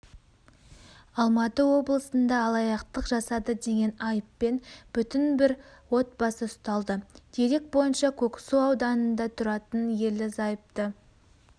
алматы облысында алаяқтық жасады деген айыппен бүтін бір отбасы ұсталды дерек бойынша көксу ауданында тұратын ерлі-зайыпты